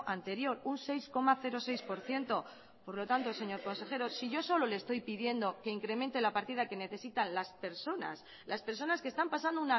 anterior un seis coma seis por ciento por lo tanto señor consejero si yo solo le estoy pidiendo que incremente la partida que necesitan las personas las personas que están pasando